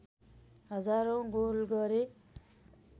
हजारौँ गोल गरे